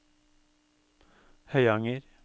Høyanger